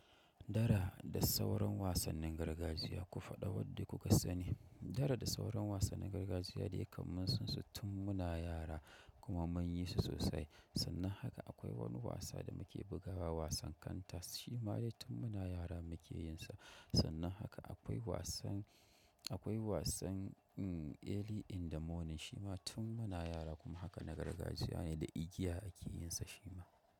Dara da sauran wasannin gargajiya ku faɗa wadda kuka sani. Dara da sauran wasannin gargajiya dai kam mun san su tun muna yara kuma mun yi su sosai. Sannan haka akwai wani wasa da muke bugawa wasan kantas shima dai tun muna yara muke yin sa. Sannan haka akwai wasan, akwai wasan early in the morning shima tun muna yara kuma haka na gargajiya ne da igiya ake yinsa shima.